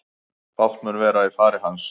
Fátt mun vera í fari hans